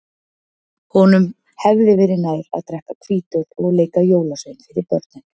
Honum hefði verið nær að drekka hvítöl og leika jólasvein fyrir börnin.